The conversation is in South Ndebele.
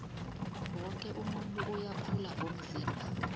woke umuntu uyakhula ngokomzimba